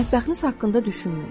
Mətbəxiniz haqqında düşünməyin.